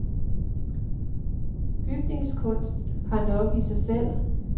Bygningskunst har nok i sig selv.